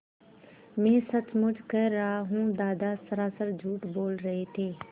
मैं सचमुच कह रहा हूँ दादा सरासर झूठ बोल रहे थे